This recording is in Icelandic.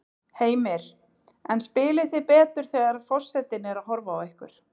Heimir: En spilið þið betur þegar að forsetinn er að horfa á ykkur?